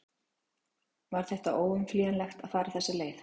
Var þetta óumflýjanlegt að fara þessa leið?